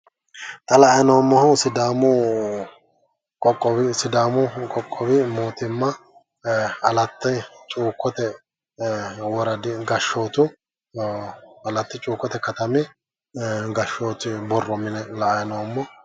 Xa la"ayi noommohu sidaamu qoqqowi mootimma alatti cuukkote woradi gashshootu alatti cuukkote katami gashshooti borro mine la"ayi noommo.